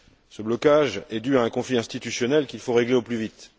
Ce blocage est dû à un conflit institutionnel qu'il faut régler au plus vite.